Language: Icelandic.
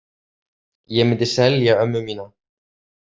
Ég myndi selja ömmu mína.